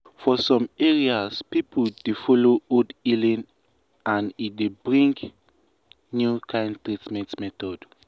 for some areas people dey follow old healing and e dey bring new kind treatment method.